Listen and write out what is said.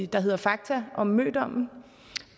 der hedder fakta om mødommen